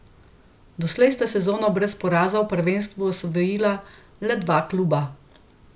Doslej sta sezono brez poraza v prvenstvu osvojila le dva kluba.